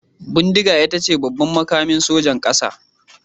Bindiga ita ce babban makamin sojan kasa.